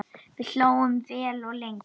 Við hlógum vel og lengi.